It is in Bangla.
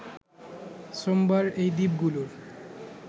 সোমবার এই দ্বীপগুলোর